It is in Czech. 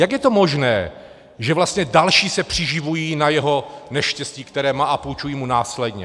Jak je to možné, že vlastně další se přiživují na jeho neštěstí, které má, a půjčují mu následně?